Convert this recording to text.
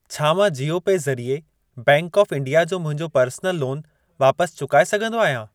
छा मां जीओ पे ज़रिए बैंक ऑफ इंडिया जो मुंहिंजो पर्सनल लोन वापसि चुकाए सघंदो आहियां?